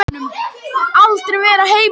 Vældi sveinninn og vildi fram úr skálanum.